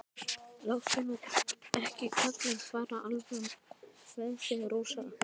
Láttu nú ekki kallinn fara alveg með þig, Rósa.